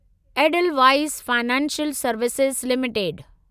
Edelweiss financial services limited